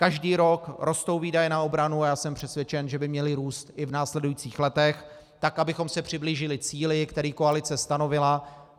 Každý rok rostou výdaje na obranu a já jsem přesvědčen, že by měly růst i v následujících letech tak, abychom se přiblížili cíli, který koalice stanovila.